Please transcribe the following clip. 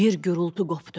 Bir gurultu qopdu.